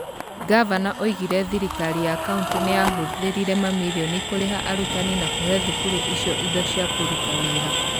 Gavana oigire thirikari ya county nĩ yahũthĩrĩte mamirioni kũrĩha arutani na kũhe thukuru icio indo cia kũruta wĩra.